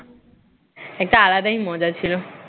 একটা আলাদাই মজা ছিল